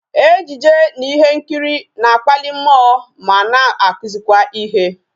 Ejije na ihe nkiri na-akpali mmụọ ma na akuzikwa ihe